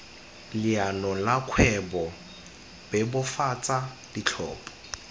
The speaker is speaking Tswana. leano la kgwebo bebofatsa ditlhopho